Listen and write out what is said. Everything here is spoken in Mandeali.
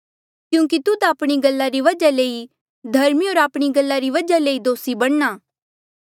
क्यूंकि तुध आपणी गल्ला री वजहा ले ई धर्मी होर आपणी गल्ला री वजहा ले ई दोसी बणना